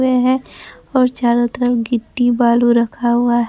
हुए हैं और चारों तरफ गिट्टी बालू रखा हुआ--